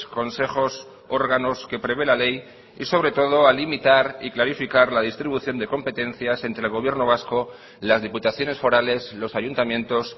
consejos órganos que prevé la ley y sobre todo a limitar y clarificar la distribución de competencias entre el gobierno vasco las diputaciones forales los ayuntamientos